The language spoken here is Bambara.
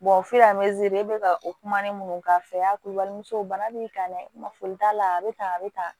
f'e bɛ ka o kuma ne minnu k'a fɛ y'a k'u balimamuso bana b'i kan dɛ ma foli t'a la a bɛ tan a bɛ tan